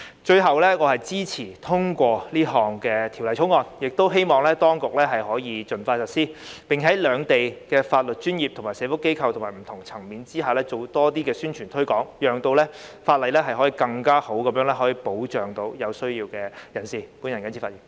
最後，我支持通過《條例草案》，亦希望當局可以盡快實施，並向兩地的法律專業、社福機構及不同層面人士進行更多宣傳推廣，讓這項法例可更有效地保障有需要的人士。